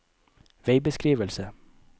veibeskrivelse